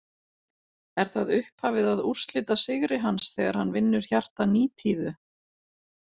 Er það upphafið að úrslitasigri hans, þegar hann vinnur hjarta Nítíðu .